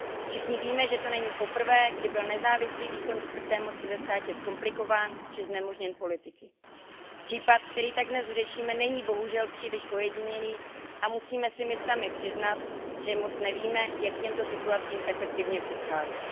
Všichni víme, že to není poprvé, kdy byl nezávislý výkon čtvrté moci ve státě zkomplikován, či znemožněn politiky. Případ, který tak dnes řešíme, není bohužel příliš ojedinělý a musíme si my sami přiznat, že moc nevíme, jak těmto situacím efektivně předcházet.